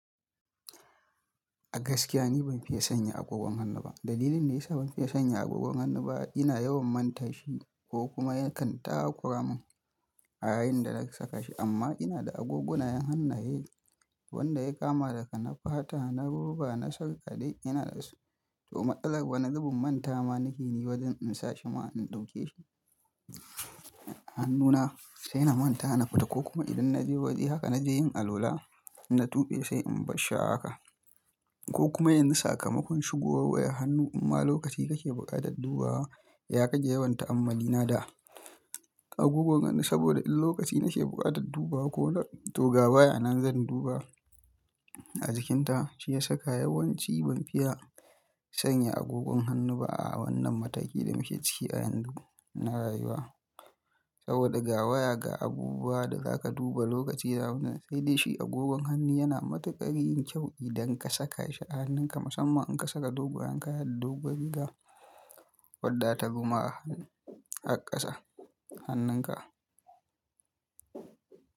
A gaskiya ni ban fiye sanya agogon hannu ba. Dalilin da ya sa ban fiye sanya agogon hannu ba ina yawan manta shi ko kuma ya kan taka kuramin a yayin da na saka shi. Amma ina da agogunan hannaye wanda ya kama daga na fata, na roba, na sarkade ina da su. To matsalar wani zubin manta ma nake yi wajen in sa shi ma in ɗauke shi. Hannuna sai na manta na fita ko kuma idan na je waje haka na je yin alwala na tuɓe sai in bar shi a haka. Ko kuma yanzu sakamakon shigowa wayar hannu imma lokaci kake buƙatar duba wa ya rage yawan ta'ammalina da agogon hannu saboda in lokaci na ke buƙatar dubawa to ga waya nan zan duba a jikinta. Shi ya saka yawanci ban fiye sanya agogon hannu ba a wannan mataki da muke ciki a yanzu na rayuwa. Saboda ga waya, ga abubuwa da za ka duba lokaci, da wannan, sai dai shi agogon hannu yana matuƙar yin kyau idan ka saka shi a hannunka, musamman in ka saka dogayen kaya da doguwar riga, wadda zatabi ma har ƙasa hannunka.